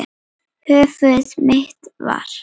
Þar höfum við það.